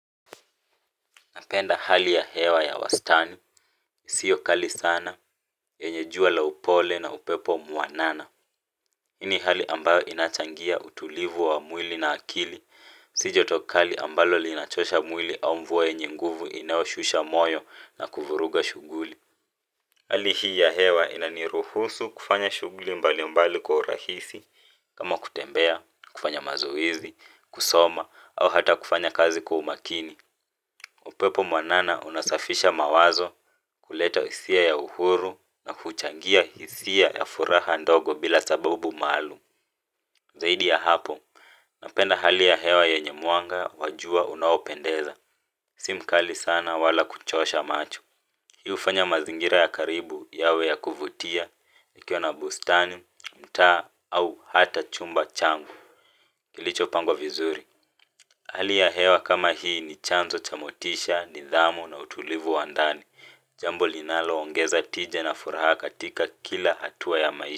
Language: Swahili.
Napenda hali ya hewa ya wastani, sio kali sana, yenye jua la upole na upepo mwanana. Hii ni hali ambayo inachangia utulivu wa mwili na akili. Si joto kali ambalo linachosha mwili au mvua yenye nguvu inayo shusha moyo na kuvuruga shughuli. Hali hii ya hewa inaniruhusu kufanya shughuli mbali mbali kwa urahisi, kama kutembea, kufanya mazoezi, kusoma, au hata kufanya kazi kwa umakini. Upepo mwanana unasafisha mawazo kuleta hisia ya uhuru na huchangia hisia ya furaha ndogo bila sababu maalum. Zaidi ya hapo, napenda hali ya hewa yenye mwanga wa jua unaopendeza. Si mkali sana wala kuchosha macho. Hii hufanya mazingira ya karibu yawe ya kuvutia, nikiwa na bustani, mtaa au hata chumba changu. Kilicho pangwa vizuri. Hali ya hewa kama hii ni chanzo cha motisha, nidhamu na utulivu wa ndani. Jambo linalo ongeza tija na furaha katika kila hatua ya maisha.